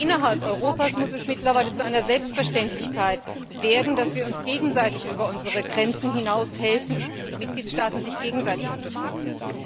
Innerhalb Europas muss es mittlerweile zu einer Selbstverständlichkeit werden, dass wir uns gegenseitig über unsere Grenzen hinaus helfen, dass die Mitgliedstaaten einander gegenseitig unterstützen.